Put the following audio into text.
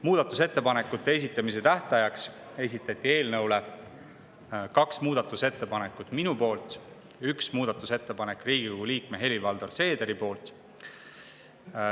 Muudatusettepanekute esitamise tähtajaks esitasin ma eelnõu kohta kaks muudatusettepanekut ja ühe muudatusettepaneku esitas Riigikogu liige Helir-Valdor Seeder.